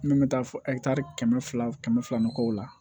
Min bɛ taa fɔ kɛmɛ fila kɛmɛ fila mɔgɔw la